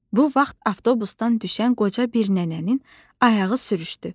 Bu vaxt avtobusdan düşən qoca bir nənənin ayağı sürüşdü.